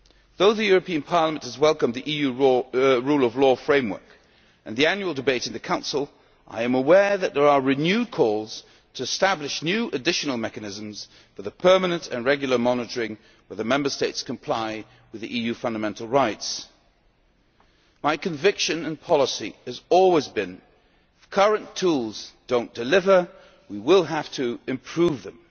Though Parliament has welcomed the EU Rule Of Law Framework and the annual debate in the Council, I am aware that there are renewed calls to establish new additional mechanisms for the permanent and regular monitoring that the Member States comply with the EU fundamental rights. My conviction and policy has always been that, if current tools do not deliver, we will have to improve